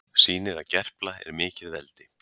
Sýnir að Gerpla er mikið veldi